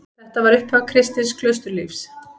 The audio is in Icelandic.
Þetta var upphaf kristins klausturlífs.